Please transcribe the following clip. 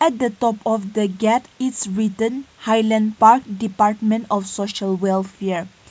At the top of the gate is written highland park department of social welfare.